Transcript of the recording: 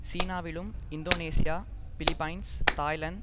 சீனாவிலும் Indonesia Philippines Thailand